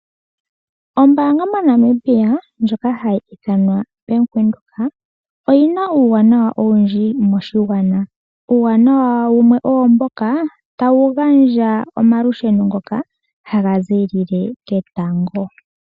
Ombaanga moNamibia ndjoka hayi ithanwa Bank Windhoek oyi na uuwanawa owundji moshigwana. Uuwananwa wumwe owo mboka tawu gandja omalusheno ngoka haga ziilile ketango.